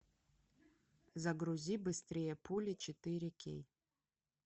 загрузи быстрее пули четыре кей